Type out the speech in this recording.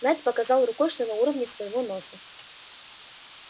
найд показал рукой что на уровне своего носа